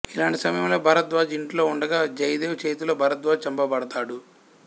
ఇలాంటి సమయంలో భరద్వాజ్ ఇంట్లో ఉండగా జైదేవ్ చేతిలో భరద్వాజ్ చంపబడతాడు